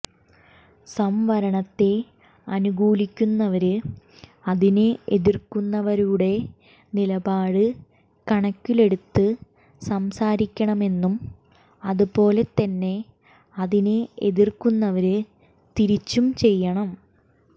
സംവരണത്തെ അനുകൂലിക്കുന്നവര് അതിനെ എതിര്ക്കുന്നവരുടെ നിലപാട് കണക്കിലെടുത്ത് സംസാരിക്കണമെന്നും അതുപോലെ തന്നെ അതിനെ എതിര്ക്കുന്നവര് തിരിച്ചും ചെയ്യണം